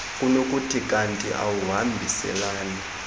kunokuthi kanti akuhambiselani